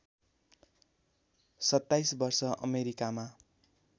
२७ वर्ष अमेरिकामा